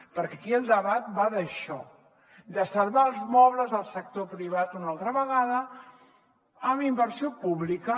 perquè aquí el debat va d’això de salvar els mobles al sector privat una altra vegada amb inversió pública